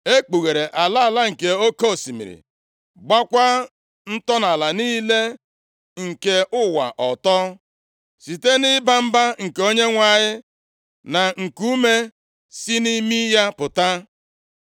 E kpughere ala ala nke oke osimiri. Gbakwa ntọala niile nke ụwa ọtọ, site nʼịba mba nke Onyenwe anyị, na nkuume si nʼimi ya pụta.